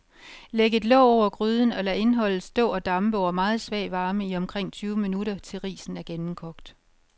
Læg et låg over gryden og lad indholdet stå og dampe over meget svag varme i omkring tyve minutter, til risen er gennemkogt.